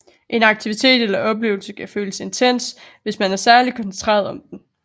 En aktivitet eller oplevelse kan føles intens hvis man er særlig koncentreret om den